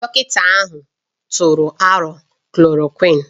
Dọkịta ahụ tụrụ aro klòròkwịn